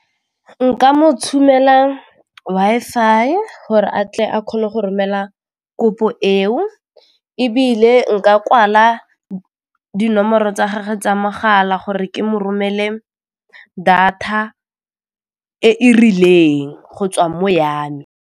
Nka mo tshumela Wi-Fi gore a tle a kgone go romela kopo eo ebile nka kwala dinomoro tsa gagwe tsa mogala gore ke mo romele data e e rileng go tswa mo ya me.